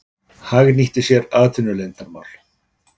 Hagnýtti sér atvinnuleyndarmál